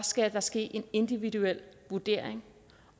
skal ske en individuel vurdering